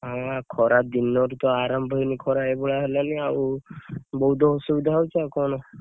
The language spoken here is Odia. ହଁ ବା ଖରା ତ ଦିନରୁତ ଆରମ୍ଭ ହେଇନି ଖରା ଏଇ ଭଳିଆ ହେଲାଣି ଆଉ ବହୁତ ଅସୁବିଧା ହଉଛି ଆଉ କଣ?